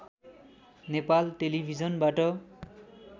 Nepal टेलिभिजनबाट